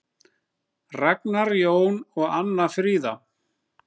Ragnar Jón og Anna Fríða.